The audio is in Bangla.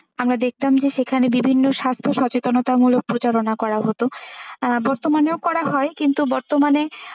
আমরা দেখতাম যে সেখানে বিভিন্ন স্বাস্থ্য সচেতনামূলক প্রচারনা করা হতো আহ বর্তমানেও করা হয় কিন্তু বর্তমানে,